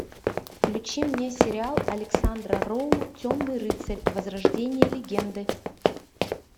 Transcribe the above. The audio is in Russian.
включи мне сериал александра роу темный рыцарь возрождение легенды